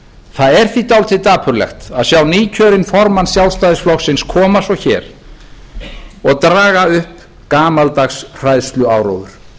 það er því dálítið dapurlegt að sjá nýkjörinn formann sjálfstæðisflokksins koma svo hér og draga upp gamaldags hræðsluáróður